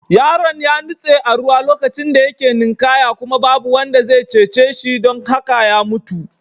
Yaron ya nutse a ruwa lokacin da yake ninkaya kuma babu wanda zai cece shi don haka ya mutu.